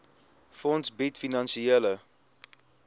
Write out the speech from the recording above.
fonds bied finansiële